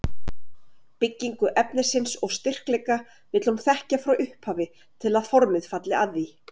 Byggingu efnisins og styrkleika vill hún þekkja frá upphafi til að formið falli að því.